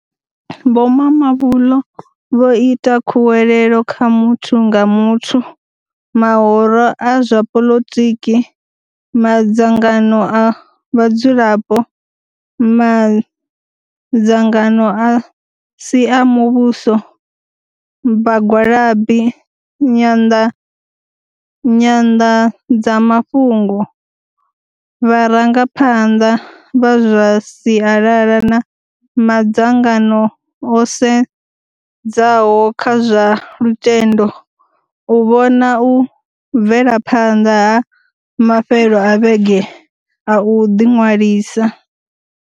Vho Mamabolo vho ita khuwelelo kha muthu nga muthu, mahoro a zwa poḽoiki, madzangano a vhadzulapo, madzangano a si a muvhuso, vhagwalabi, nyanḓadzamafhungo, vharangaphanḓa vha zwa sialala na madzangano o sedzaho kha zwa lutendo u vhona u bvelaphanḓa ha mafhelo a vhege a u ḓiṅwalisa.